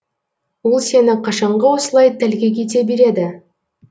ол сені қашанғы осылай тәлкек ете береді